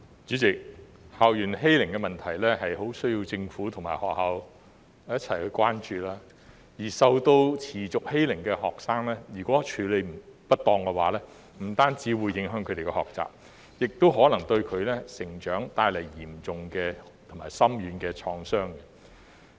主席，校園欺凌的問題很需要政府和學校一起關注，而受到持續欺凌的學生，如果處理不當的話，不單會影響他們的學習，也可能對他們的成長帶來嚴重和深遠的創傷。